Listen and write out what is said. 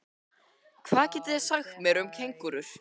Hvað getið þið sagt mér um kengúrur?